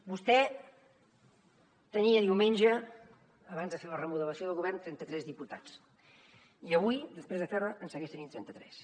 vostè tenia diumenge abans de fer la remodelació del govern trenta tres diputats i avui després de fer la en segueix tenint trenta tres